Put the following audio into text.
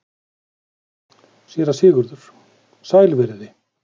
SÉRA SIGURÐUR: Sæl verið þið.